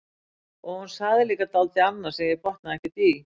Og hún sagði líka dálítið annað sem ég botnaði ekkert í.